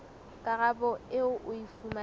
karabo eo o e fumanang